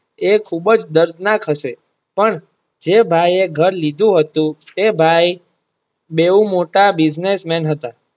એ ખુબજ દર્દનાક હશે પણ જે ભાઈ એ ઘર લીધું હતું તે ભાઈ બેવ મોટા Business man હતા.